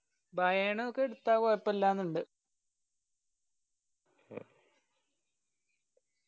bayern ഒക്കെ എടുത്ത കൊയപ്പില്ലാന്നിണ്ട്